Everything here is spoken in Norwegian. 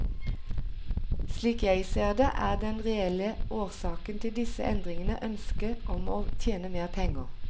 Slik jeg ser det, er den reelle årsaken til disse endringene ønsket om å tjene mer penger.